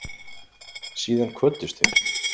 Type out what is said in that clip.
Síðan kvöddust þeir.